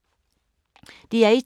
DR1